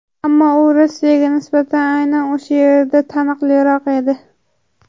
Ammo u Rossiyaga nisbatan aynan o‘sha yerda taniqliroq edi.